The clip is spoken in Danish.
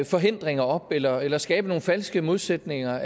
forhindringer op eller eller skabt nogle falske modsætninger